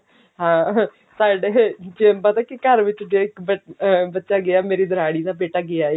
ਹਾਂ ਹਮ ਸਾਡੇ ਜੇ ਪਤਾ ਕੀ ਘਰ ਵਿੱਚ ਜੇ ਇੱਕ ਬੱਚਾ ਅਮ ਬੱਚਾ ਗਿਆ ਮੇਰੀ ਦਰਾਣੀ ਦਾ ਬੇਟਾ ਗਿਆ